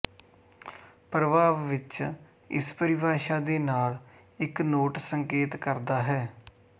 ਪ੍ਰਭਾਵ ਵਿੱਚ ਇਸ ਪਰਿਭਾਸ਼ਾ ਦੇ ਨਾਲ ਇੱਕ ਨੋਟ ਸੰਕੇਤ ਕਰਦਾ ਹੈ